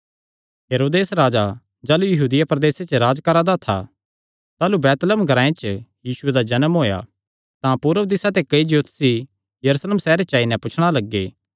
हेरोदेस राजा जाह़लू यहूदिया प्रदेसे च राज करा दा था ताह़लू बैतलहम ग्रांऐ च यीशुये दा जन्म होएया तां पूरब दिसा ते कई ज्योतषी यरूशलेम सैहरे च आई नैं पुछणा लग्गे